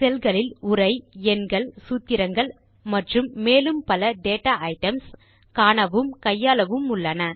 செல் களில் உரை எண்கள் சூத்திரங்கள் மற்றும் மேலும் பல டேட்டா ஐட்டம்ஸ் காணவும் கையாளவும் உள்ளன